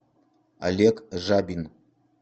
олег жабин